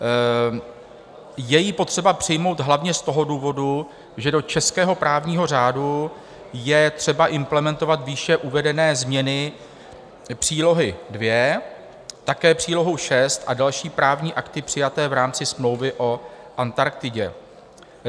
Je ji potřeba přijmout hlavně z toho důvodu, že do českého právního řádu je třeba implementovat výše uvedené změny, Přílohu II, také Přílohu VI a další právní akty přijaté v rámci Smlouvy o Antarktidě.